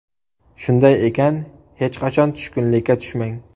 Shunday ekan, hech qachon tushkunlikka tushmang!